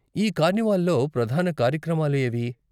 ఈ కార్నివాల్లో ప్రధాన కార్యక్రమాలు ఏవి?